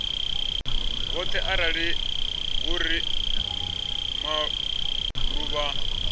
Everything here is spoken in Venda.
vhoṱhe arali hu uri maḓuvha